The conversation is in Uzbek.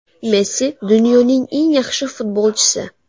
Messi dunyoning eng yaxshi futbolchisi.